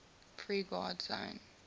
free guard zone